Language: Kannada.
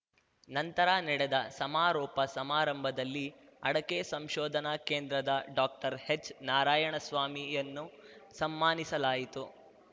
ನಂತರ ನಡೆದ ಸಮಾರೋಪ ಸಮಾರಂಭದಲ್ಲಿ ಅಡಕೆ ಸಂಶೋಧನಾ ಕೇಂದ್ರದ ಡಾಕ್ಟರ್ಹೆಚ್‌ ನಾರಾಯಣಸ್ವಾಮಿಯನ್ನು ಸಮ್ಮಾನಿಸಲಾಯಿತು